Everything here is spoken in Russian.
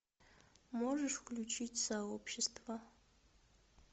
можешь включить сообщество